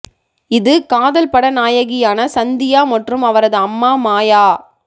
இது காதல் பட நாயகியான சந்தியா மற்றும் அவரது அம்மா மாயா